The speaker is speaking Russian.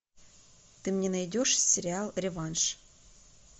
ты мне найдешь сериал реванш